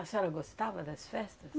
A senhora gostava das festas?